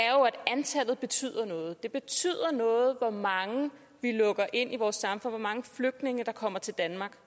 antallet betyder noget at det betyder noget hvor mange vi lukker ind i vores samfund hvor mange flygtninge der kommer til danmark